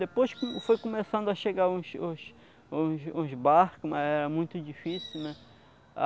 Depois foi começando a chegar os os os os barcos, mas era muito difícil, né?